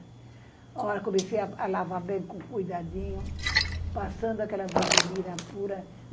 A hora eu comecei a lavar bem, com cuidadinho, passando aquela vasilina pura.